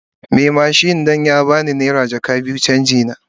Mai mashin don ya ba no naira jaka biyu wai canji na.